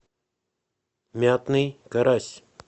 мятный карась